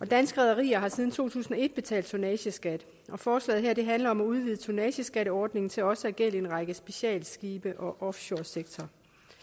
danske rederier har siden to tusind og et betalt tonnageskat og forslaget her handler om at udvide tonnageskatteordningen til også at gælde en række specialskibe og offshoresektoren